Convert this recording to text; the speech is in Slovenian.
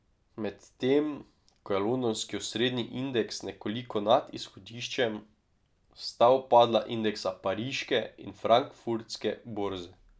Medtem ko je londonski osrednji indeks nekoliko nad izhodiščem, sta upadla indeksa pariške in frankfurtske borze.